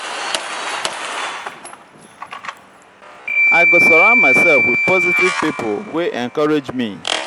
i go surround myself with positive pipo wey encourage me.